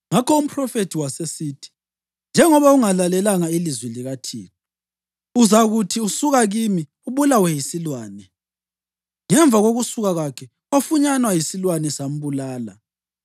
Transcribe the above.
Ngakho umphrofethi wasesithi, “Njengoba ungalalelanga ilizwi likaThixo, uzakuthi usuka kimi ubulawe yisilwane.” Ngemva kokusuka kwakhe, wafunyanwa yisilwane sambulala.